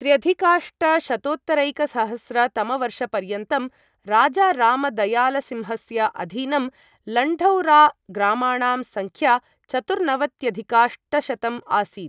त्र्यधिकाष्टशतोत्तरैकसहस्र तमवर्षपर्यन्तं राजारामदयालसिंहस्य अधीनं लण्ढौराग्रामाणां सङ्ख्या चतुर्नवत्यधिकाष्टशतं आसीत्।